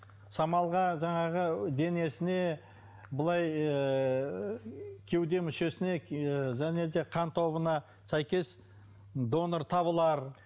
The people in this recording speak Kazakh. самалға жаңағы денесіне былай ыыы кеуде мүшесіне ы және де қан тобына сәйкес донор табылар